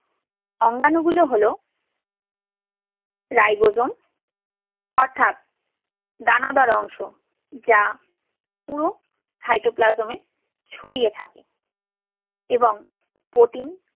অঙ্গাণুগুলো হলো ribosome অর্থাৎ দানাদার অংশ যা পুরো cytoplasm এ ছড়িয়ে থাকে এবং protein